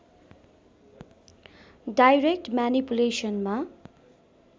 direct म्यानिपुलेसनमा